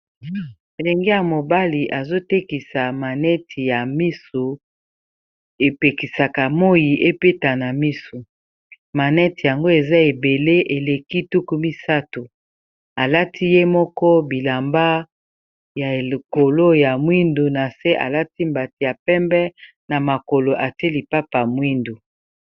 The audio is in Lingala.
molenge ya mobali azotekisa maneti ya misu epekisaka moi epetana misu maneti yango eza ebele eleki tuku misato alati ye moko bilamba ya ekolo ya mwindu na se alati mbati ya pembe na makolo ate lipapa mwindu